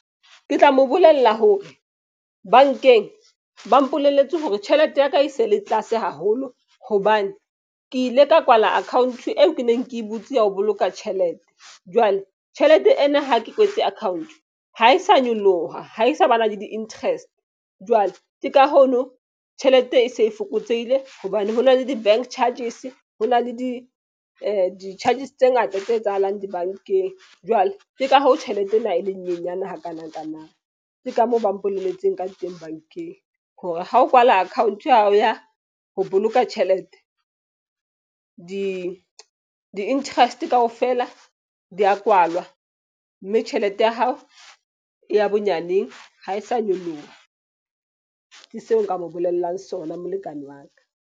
Ke tla mo bolella hore bank-eng ba mpolelletse hore tjhelete ya ka e se le tlase haholo. Hobane ke ile ka kwala account eo ke neng ke e butse ya ho boloka tjhelete. Jwale tjhelete ena ha ke kwetse account ha e sa nyoloha. Ha e sa ba na le di-interest jwale ke ka ho no tjhelete e se e fokotsehile. Hobane hona le di-bank charges. Ho na le di di-charges tse ngata tse etsahalang di-bank-eng. Jwale ke ka hoo tjhelete ena e le nyenyane hakanakana. Ke ka moo ba mpolelletseng ka teng bank-eng. Hore ha o kwala account ya hao ya ho boloka tjhelete di-interest kaofela di ya kwalwa, mme tjhelete ya hao e ya bonyaneng ha e sa nyoloha. Ke seo nka mo bolellang sona molekane wa ka.